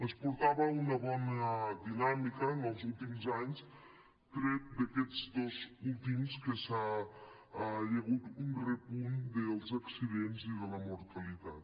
es portava una bona dinàmica en els últims anys tret d’aquests dos últims que hi ha hagut un repunt dels accidents i de la mortalitat